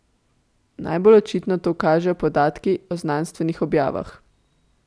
Najbolj očitno to kažejo podatki o znanstvenih objavah.